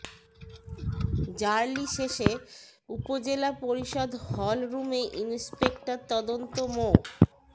rally শেষে Upazila Parishad hall রুমে inspector তদন্ত মো